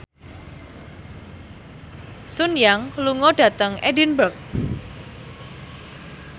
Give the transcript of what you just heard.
Sun Yang lunga dhateng Edinburgh